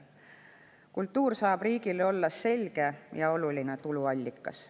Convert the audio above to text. Kultuur saab riigile olla selge ja oluline tuluallikas.